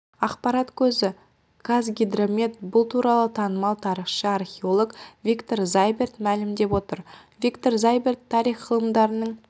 ақпарат көзі қазгидромет бұл туралы танымал тарихшы археолог виктор зайберт мәлімдеп отыр виктор зайберт тарих ғылымдарының